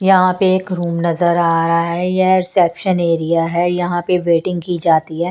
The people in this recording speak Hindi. यहां पे एक रूम नजर आ रहा है यह रिसेप्शन एरिया है यहां पे वेटिंग की जाती है।